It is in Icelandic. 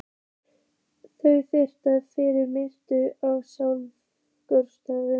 Þau biðja fyrir minni glötuðu sál.